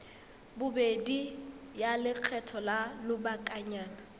bobedi ya lekgetho la lobakanyana